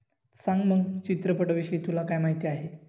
सांग मग चित्रपटाविषयी तुला काय माहिती आहे